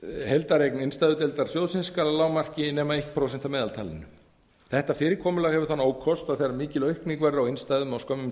heildareign innstæðudeildar sjóðsins skal að lágmarki nema eitt prósent af meðaltalinu þetta fyrirkomulag hefur þann ókost að þegar mikil aukning verður á innstæðum á skömmum